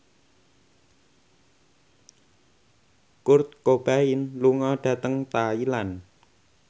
Kurt Cobain lunga dhateng Thailand